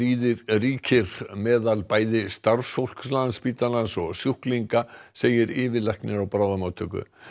ríkir meðal bæði starfsfólks Landspítalans og sjúklinga segir yfirlæknir á bráðamóttöku